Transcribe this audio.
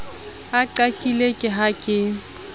o qakile ke ha ke